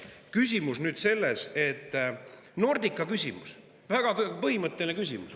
Küsimus on nüüd selles, et Nordica küsimus on väga põhimõtteline küsimus.